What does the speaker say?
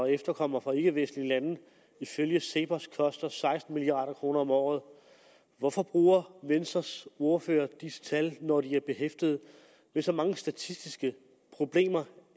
efterkommere fra ikkevestlige lande ifølge cepos koster seksten milliard kroner om året hvorfor bruger venstres ordfører disse tal når de er behæftet med så mange statistiske problemer